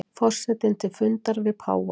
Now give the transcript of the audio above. Forsetinn til fundar við páfa